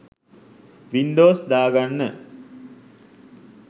Windows දාගන්න